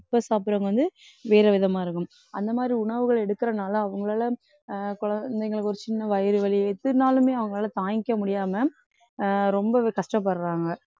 இப்ப சாப்பிடுறவங்க வந்து வேற விதமா இருக்கும். அந்த மாதிரி உணவுகள் எடுக்கிறனால அவங்களால அஹ் குழந்தைங்களுக்கு ஒரு சின்ன வயிறு வலி எதுனாலுமே அவங்களால தாங்கிக்க முடியாம அஹ் ரொம்பவே கஷ்டப்படுறாங்க.